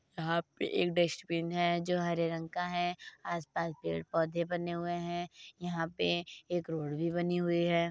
यहाँ पे एक डस्टबिन है जो हरे रंग का है आस-पास पेड़ पौधे बने हुए हैं। यहाँ पे एक रोड भी बनी हुई है।